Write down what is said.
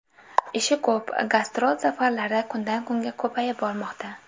Ishi ko‘p, gastrol safarlari kundan-kunga ko‘payib bormoqda.